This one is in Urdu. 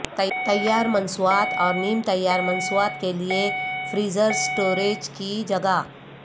تیار مصنوعات اور نیم تیار مصنوعات کے لئے فریزر سٹوریج کی جگہ